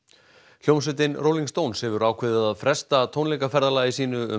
hljómsveitin Rolling Stones hefur ákveðið að fresta tónleikaferðalagi sínu um